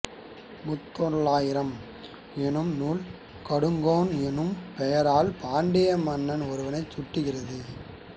முத்தொள்ளாயிரம் என்னும் நூல் கடுங்கோன் என்னும் பெயரால் பாண்டிய மன்னன் ஒருவனைச் சுட்டுகிறது